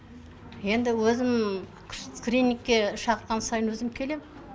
енді өзім скринингке шақырған сайын өзім келемін